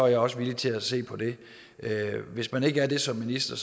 jeg også villig til at se på det hvis man ikke er det som minister